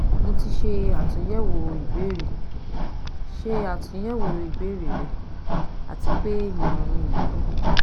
Mo ti ṣe atunyẹwo ibeere ṣe atunyẹwo ibeere rẹ ati pe imọran mi niyi